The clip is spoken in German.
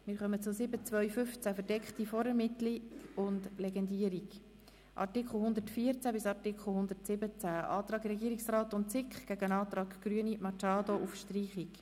Wir kommen zum Kapitel 7.2.15, Verdeckte Vorermittlung und Legendierung, Artikel 114–117 und dem Antrag Regierungsrat/SiK gegen den Antrag Grüne/Machado auf Streichung.